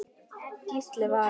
Gísli Valur.